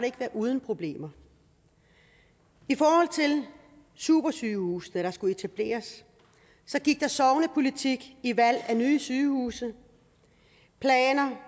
ikke været uden problemer i forhold til supersygehusene der skulle etableres gik der sognepolitik i valg af nye sygehuse planer